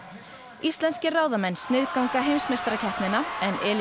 íslenskir ráðamenn sniðganga heimsmeistarakeppnina en